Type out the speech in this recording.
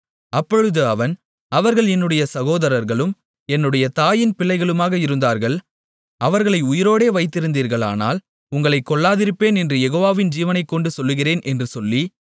அப்பொழுது அவன் அவர்கள் என்னுடைய சகோதரர்களும் என்னுடைய தாயின் பிள்ளைகளுமாக இருந்தார்கள் அவர்களை உயிரோடே வைத்திருந்தீர்களானால் உங்களைக் கொல்லாதிருப்பேன் என்று யெகோவாவின் ஜீவனைக்கொண்டு சொல்லுகிறேன் என்று சொல்லி